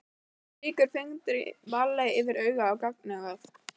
Strýkur fingri varlega yfir auma gagnaugað.